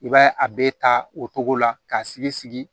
I b'a ye a bɛ ta o togo la k'a sigi sigi